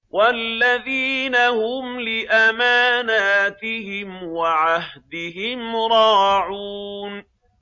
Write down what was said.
وَالَّذِينَ هُمْ لِأَمَانَاتِهِمْ وَعَهْدِهِمْ رَاعُونَ